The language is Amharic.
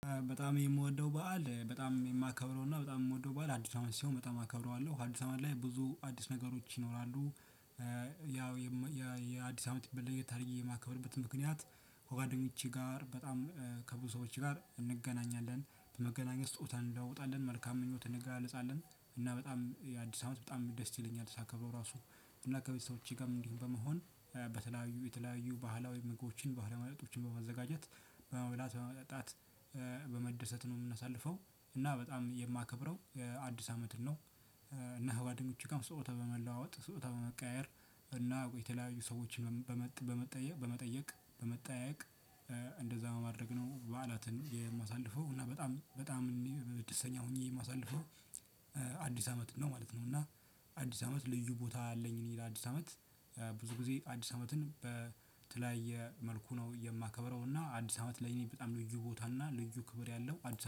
በጣም የምወደው በዓል፤ በጣም የማከብረው እና በጣም የምወደው በዓል አዲስ አመት ሲሆን በጣም አከብረዋለሁ። አዲስ አመት ላይ ብዙ አዲስ ነገሮች ይኖራሉ። ያው የአዲስ አመት ለየት አድርጌ የማከብርበት ምክንያት ከጓደኞቼ ጋር፤ በጣም ከብዙ ሰዎች ጋር እንገናኛለን። በመገናኘት ስጦታ እንለዋወጣለን፤ መልካም ምኞት እንገላለፃለን፤ እና በጣም የአዲስ አመት በጣም ደስ ይለኛል ሳከብረው ራሱ። እና ከቤተሰቦቼ ጋርም እንዲሁ በመሆን በተለያዩ የተለያዩ ባህላዊ ምግቦችን፤ ባህላዊ መጠጦችን በማዘጋጀት፤ በመብላት፣ በመጠጣት በመደሰት ነው የምናሳልፈው። እና በጣም የማከብረው አዲስ አመትን ነው። እና ከጓደኞቼ ጋርም ስጦታ በመለዋወጥ፤ ስጦታ በመቀያየር እና የተለያዩ ሰዎችን በመጠየቅ፤ በመጠያየቅ እንደዛ በማድረግ ነው በዓላትን የማሳልፈው እና በጣም በጣም ደስተኛ ሆኜ የማሳልፈው አዲስ አመት አዲስ አመትን ነው ማለት ነው። እና አዲስ አመት ልዩ ቦታ አለኝ እኔ ለአዲስ አመት ብዙ ጊዜ አዲስ አመትን በተለያየ መልኩ ነው የማከብረው እና አዲስ አመት ለኔ በጣም ልዩ ቦታ እና ልዩ ክብር ያለው አዲስ